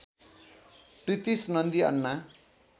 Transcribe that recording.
Pritish Nandy Anna